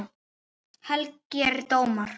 Helgir dómar